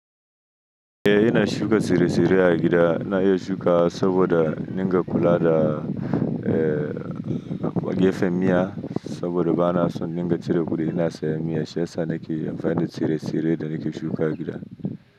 Eh ina shuka tsire-tsire a gida. Na iya shuka saboda ninga kula da, eh, gefen miya saboda ba na son ninga cire kudi, ina sayan miya, shiyasa nake amfani da tsire-tsire da nake shuka gida.